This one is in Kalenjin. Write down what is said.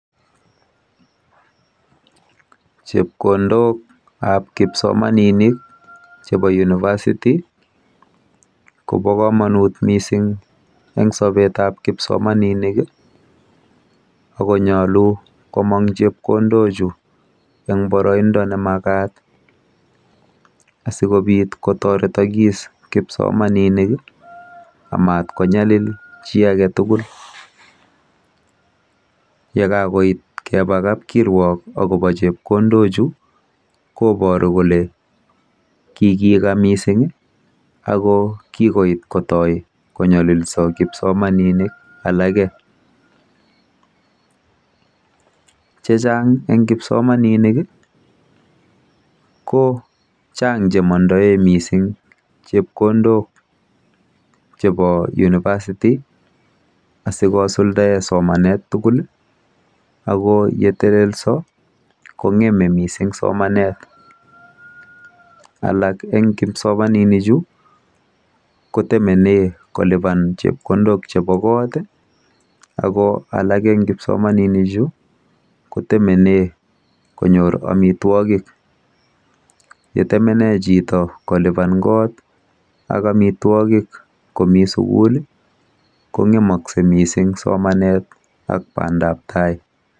Chepkondokap kipsomaninik chebo University kobo komonut mising eng sobetab kipsomaninik akonyolu komong chepkondochu eng boroindo nemakat asikobit kotoretokis kipsomaninik amat konyalil chi ake tugul . Yekakoit keba kapkiruok akobo chepkondochu koboru kole kikeka mising ako kikoit kotoi konyolilso kipsomaninik alake. Chechang eng kipsomaninik ko chang che mandoe mising chepkondok chebo University asikosuldae somanet tugul ako yeteleso kong'eme mising somanet. Alak eng kipsomaninichu kotemene kolipan chepkondok chepo kot ako alak eng kipsomaninichu kotemene konyor amitwogik. Yetemene chito kolipan kot ak amitwogik komi sukul kong'eme mising somanet ak bandabtai.